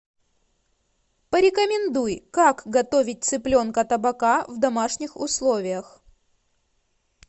порекомендуй как готовить цыпленка табака в домашних условиях